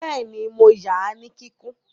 Bẹ́ẹ̀ni, mo ya ní kíkún